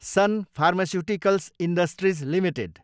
sun pharmaceuticals industries Ltd